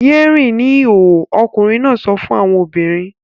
Yé rìn ní ìhòhò! ọkùnrin náà sọ fún àwọn obìnrin.